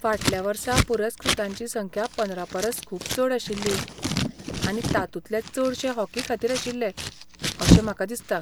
फाटल्या वर्सा पुरस्कृतांची संख्या पंदरा परस खूब चड आशिल्ली आनी तातूंतले चडशे हॉकी खातीर आशिल्ले, अशें म्हाका दिसता.